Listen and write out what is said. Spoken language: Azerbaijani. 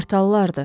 Qartallardır.